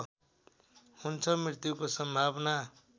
हुन्छ मृत्युको सम्भावना